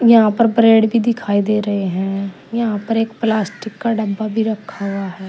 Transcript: यहां पर ब्रेड भी दिखाई दे रहे हैं। यहां पर एक प्लास्टिक का डब्बा भी रखा हुआ है।